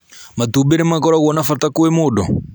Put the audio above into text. Matumbĩ nĩmakoragũo na bata kwĩ mũndũ